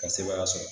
Ka sebaaya sɔrɔ